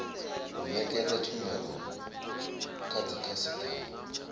u nekedza tshumelo kha dzikhasitama